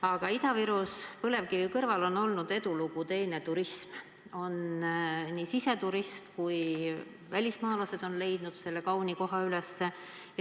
Aga Ida-Virumaal on põlevkivi kõrval teine edulugu olnud turism, nii siseturistid kui ka välismaalased on selle kauni koha üles leidnud.